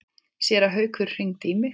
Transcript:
Séra Haukur hringdi í mig.